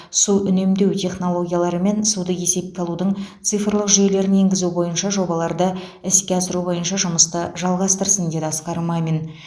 су үнемдеу технологиялары мен суды есепке алудың цифрлық жүйелерін енгізу бойынша жобаларды іске асыру бойынша жұмысты жалғастырсын деді асқар мамин